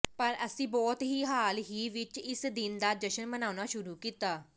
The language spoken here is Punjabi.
ਪਰ ਅਸੀਂ ਬਹੁਤ ਹੀ ਹਾਲ ਹੀ ਵਿੱਚ ਇਸ ਦਿਨ ਦਾ ਜਸ਼ਨ ਮਨਾਉਣਾ ਸ਼ੁਰੂ ਕੀਤਾ